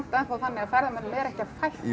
enn þá þannig að ferðamönnum er ekki að